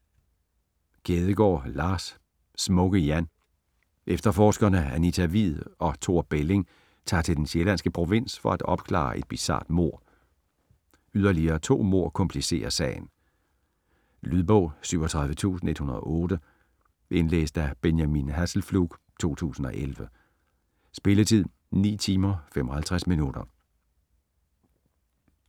Kjædegaard, Lars: Smukke-Jan Efterforskerne Anita Hvid og Thor Belling tager til den sjællandske provins for at opklare et bizart mord. Yderligere to mord komplicerer sagen. Lydbog 37108 Indlæst af Benjamin Hasselflug, 2011. Spilletid: 9 timer, 55 minutter.